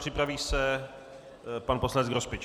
Připraví se pan poslanec Grospič.